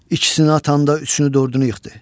İkisini atanda üçünü, dördünü yıxdı.